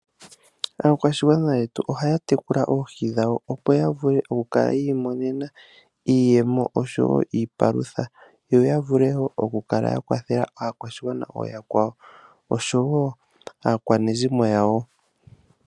Aakwashigwana yetu ohaya tekula oohi dhawo, opo ya vule oku kala yi imonena iiyemo oshowo iipalutha, yo ya vule woo oku kala ya kwathela aakwashigwana ooyakwawo, oshowo aakwanezimo yawo.